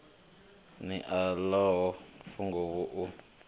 ri o ḽaho funguvhu u